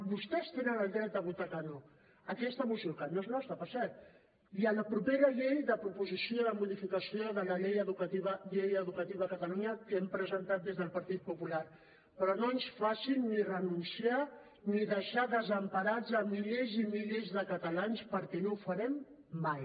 vostès tenen el dret a votar que no a aquesta moció que no és nostra per cert i a la propera llei de proposició de modificació de la llei educativa de catalunya que hem presentat des del partit popular però no ens facin ni renunciar ni deixar desemparats milers i milers de catalans perquè no ho farem mai